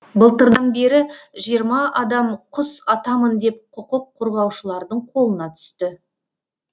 былтырдан бері жиырма адам құс атамын деп құқық қорғаушылардың қолына түсті